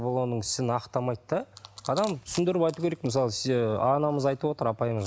бұл оның ісін ақтамайды да адам түсіндіріп айту керек мысалы ы анамыз айтып отыр апайымыз